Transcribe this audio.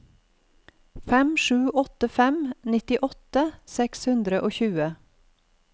fem sju åtte fem nittiåtte seks hundre og tjue